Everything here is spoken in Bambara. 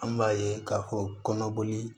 An b'a ye k'a fɔ kɔnɔboli